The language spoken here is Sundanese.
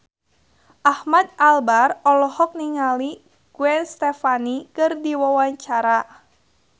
Ahmad Albar olohok ningali Gwen Stefani keur diwawancara